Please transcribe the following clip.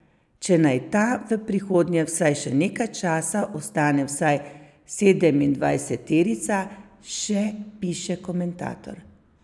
Če naj ta v prihodnje vsaj še nekaj časa ostane vsaj sedemindvajseterica, še piše komentator.